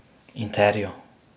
Interja.